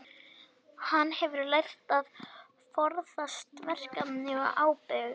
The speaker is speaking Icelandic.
Mjög lítið af því kólesteróli sem fólk borðar fer út í blóðrásina.